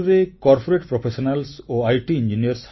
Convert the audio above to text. ବେଙ୍ଗାଲୁରୁରେ corporate professionals ଏବଂ IT